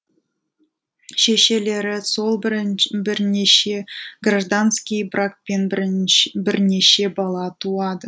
шешелері сол бірнеше гражданский бракпен бірнеше бала туады